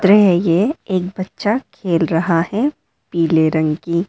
ये है ये एक बच्चा खेल रहा है पीले रंग की --